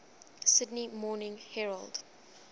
sydney morning herald